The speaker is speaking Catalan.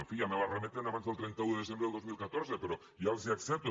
en fi ja me la remeten abans del trenta un de desem·bre del dos mil catorze però ja els ho accepto